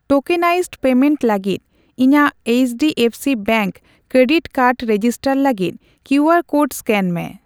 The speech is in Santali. ᱴᱳᱠᱮᱱᱟᱭᱤᱥᱰ ᱯᱮᱢᱮᱱᱴ ᱞᱟᱹᱜᱤᱫ ᱤᱧᱟᱜ HDFC bank credit card register ᱞᱟᱹᱜᱤᱫ ᱠᱤᱭᱩᱟᱨ ᱠᱳᱰ ᱮᱥᱠᱮᱱ ᱢᱮ ᱾